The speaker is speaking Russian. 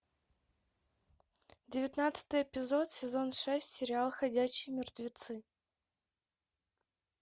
девятнадцатый эпизод сезон шесть сериал ходячие мертвецы